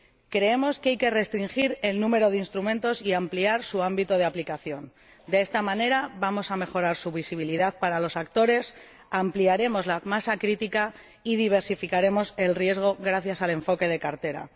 Creemos que hay que restringir el número de instrumentos y ampliar su ámbito de aplicación de esta manera, vamos a mejorar su visibilidad para los actores, ampliaremos la masa crítica y diversificaremos el riesgo gracias al enfoque de cartera.